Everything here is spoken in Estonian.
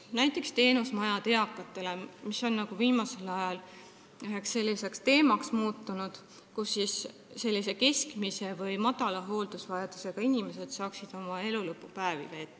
Näiteks on viimasel ajal teemaks muutunud eakate teenusmajad, seal saaksid keskmise või madala hooldusvajadusega inimesed oma elulõpupäevi veeta.